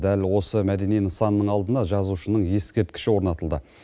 дәл осы мәдени нысанның алдына жазушының ескерткіші орнатылды